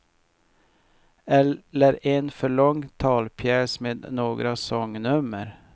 Eller en för lång talpjäs med några sångnummer.